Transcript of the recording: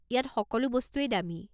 ইয়াত সকলো বস্তুৱেই দামী।